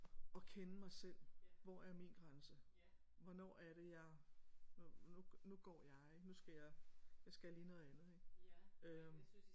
Og kende mig selv hvor er min grænse? hvornår er det jeg nu nu går jeg nu skal jeg jeg skal lige noget andet ik øh